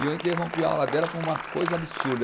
E eu interrompi a aula dela por uma coisa absurda.